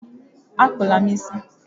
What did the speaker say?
Akpụla m isi!